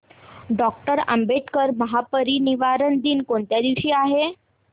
doctor Ambedkar महापरिनिर्वाण दिन कोणत्या दिवशी आहे